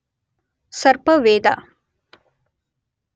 ಸರ್ಪವೇದ